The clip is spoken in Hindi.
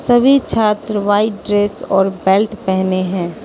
सभी छात्र व्हाइट ड्रेस और बेल्ट पेहने हैं।